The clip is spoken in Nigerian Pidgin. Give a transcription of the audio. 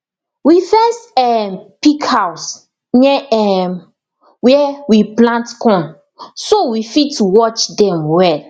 we fence um pig house near um where we plant corn so we fit watch dem well